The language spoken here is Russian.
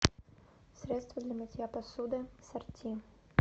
средство для мытья посуды сорти